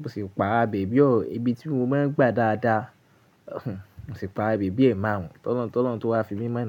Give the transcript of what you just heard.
mo sì pará bebi o, ibi tí mo máa ń gba dáadáa, mo sì pará bèbí e marun Tọ́lọun tọ́lọ́un tó wá fi mí mọ́ na.